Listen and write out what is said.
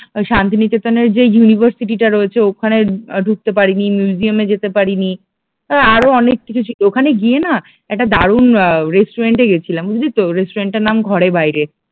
ওই শান্তিনিকেতনের যে ইউনিভার্সিটি টা রয়েছে ওখানে ঢুকতে পারিনি, মিউজিয়াম এ যেতে পারিনি, আরো অনেক কিছু ছিল ওখানে গিয়ে না একটা দারুণ আহ রেস্টুরেন্ট এ গেছিলাম বুঝলি তো রেস্টুরেন্ট টার নাম ঘরে বাইরে